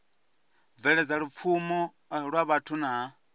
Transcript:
bveledza lupfumo lwa vhathu na